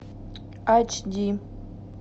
айч ди